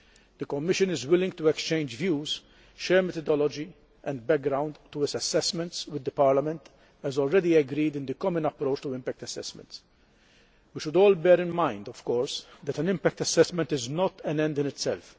The Commission is willing to exchange views, share methodology and background to its assessments with the Parliament, as already agreed in the common approach to impact assessments. We should all bear in mind, of course, that an impact assessment is not an end in itself.